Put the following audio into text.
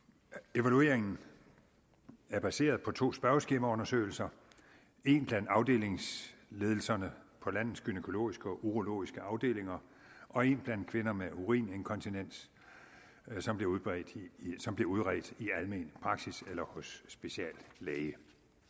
evalueringen er baseret på to spørgeskemaundersøgelser en blandt afdelingsledelserne på landets gynækologiske og urologiske afdelinger og en blandt kvinder med urininkontinens som blev som blev udredt i almen praksis eller hos speciallæge